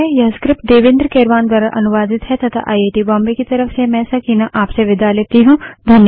यह स्क्रिप्ट देवेन्द्र कैरवान द्वारा अनुवादित है तथा आई आई टी बॉम्बे की तरफ से मैं सकीना अब आप से विदा लेती हूँ